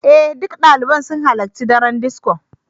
Ee, duk ɗaliban sun halarci daren disco.